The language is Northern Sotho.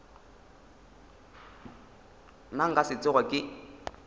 nna nka se tsoge ke